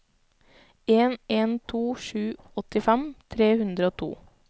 en en to sju åttifem tre hundre og to